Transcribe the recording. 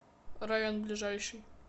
район ближайший